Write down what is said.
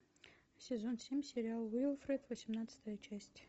сезон семь сериал уилфред восемнадцатая часть